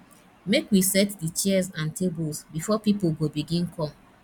make we set di chairs and tables before pipo go begin come